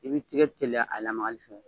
I b'i tɛgɛ teliya a lamagali fɛ